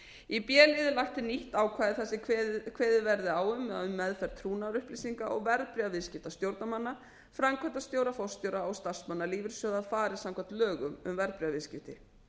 í b lið er lagt til nýtt ákvæði þar sem kveðið verði á um að um meðferð trúnaðarupplýsinga og verðbréfaviðskipta stjórnarmanna framkvæmdastjóra og starfsmanna lífeyrissjóða fari samkvæmt lögum um verðbréfaviðskipti